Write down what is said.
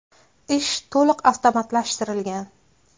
Ish to‘liq avtomatlashtirilgan.